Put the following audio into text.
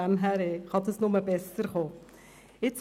So gesehen kann es nur besser werden.